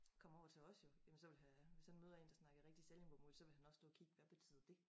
Kom over til os jo jamen ville han øh hvis han møder en der snakker rigtig sallingbomål så ville han også stå og kigge hvad betyder det